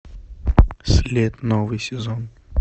след новый сезон